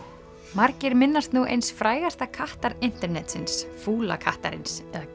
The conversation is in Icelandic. margir minnast nú eins frægasta kattar internetsins fúla kattarins eða